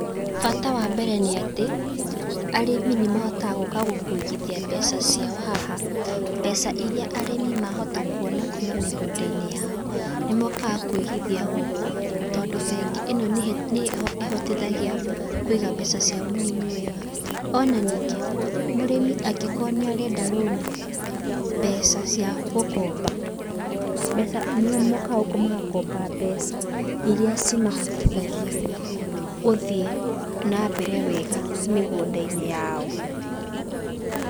Bata wa mbere nĩ atĩ, arĩmi nĩ mahotaga gũka kũigithia mbeca ciao haha. Mbeca irĩa arĩmi mahota kuona kuma mĩgũnda-inĩ yao nĩ mokaga kũigithia gũkũ, tondũ bengi ĩno nĩ nĩ ĩhotithagia kũiga mbeca cia mũrĩmi wega. Ona ningĩ, mũrĩmi angĩkorwo nĩ arenda rũni mbeca cia gũkomba, mbeca, nĩ mokaga gũkũ magakomba mbeca irĩa cimahotithagia gũthiĩ na mbere wega mĩgũnda-inĩ yao.